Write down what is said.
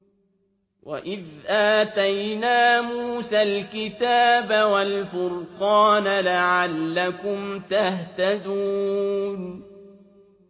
وَإِذْ آتَيْنَا مُوسَى الْكِتَابَ وَالْفُرْقَانَ لَعَلَّكُمْ تَهْتَدُونَ